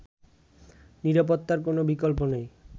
নিরাপত্তার কোন বিকল্প নেই”